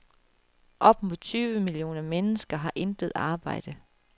Op mod tyve millioner mennesker har intet arbejde.